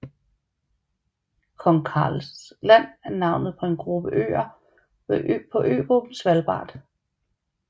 Kong Karls Land er navnet på en gruppe øer på øgruppen Svalbard